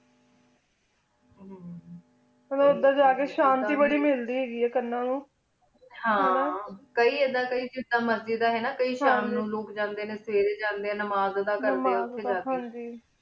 ਤੁਥ੍ਯ ਜਾ ਕੀ ਸ਼ਾਂਤੀ ਬਾਰੀ ਮਿਲਦੀ ਆਯ ਕਾਨਾ ਨੂੰ ਹਨ ਕਾਈ ਕਈ ਜਿਦਾਂ ਮੇਰਜ਼ੀ ਦਾ ਹੀ ਗਾ ਕਈ ਸ਼ਾਮੁਨ ਲੋਗ ਜਾਂਦੀ ਕਈ ਸਵੇਰੀ ਜਾਂਦੀ ਨਿਮਾ ਅਦਾ ਕਰਦੀ ਉਠੀ ਜਾ ਕੀ ਹਨ ਜੀ